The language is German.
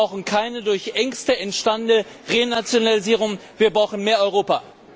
Wir brauchen keine durch Ängste entstandene Renationalisierung, wir brauchen mehr Europa!